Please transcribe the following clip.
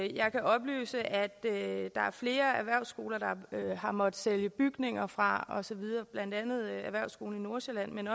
jeg kan oplyse at flere erhvervsskoler har måttet sælge bygninger fra blandt andet erhvervsskolen nordsjælland men